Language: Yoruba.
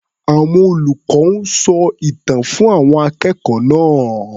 Àwọn olùkọ́ ń sọ ìtàn fún àwọn akẹ́kọ̀ọ́ náá̀.